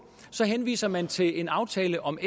henviser man til en aftale om